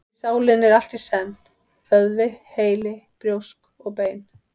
Því sálin er allt í senn: vöðvi, heili, brjósk og bein.